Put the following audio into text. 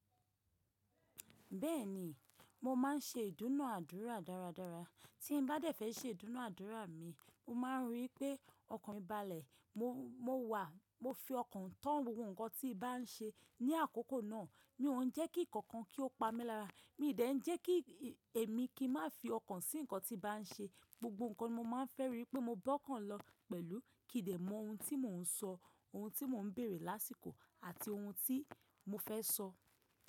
Bẹ́ẹ̀ni, mo máà ń ṣe ìdúnà ádúrà dáradára. Tí n bá dẹ̀fé ṣe ìdúnàádúrà mi, mo máa ń rí pé ọkàn mi balẹ̀. Mo wà, mo fi ọkàn tán gbogbo nnkan tí i bá ń ṣe. Ni àkókò náà, mi ò ń jẹ́ kí ǹkan kan kí ó pa mí lára. Èmi ò dẹ̀ ń jẹ́ kí èmi kí má fi ọkàn sí ǹkan tí bà ń ṣe. Gbogbo ǹkan ni mo máa ń fẹ́ rí pé mo gbọ́kàn lọ pẹ̀lú kì í dẹ̀ mọ ohun tí mò ń sọ, ohun tí mò ń bèrè lásìkò àti ohun tí mo fẹ́ sọ.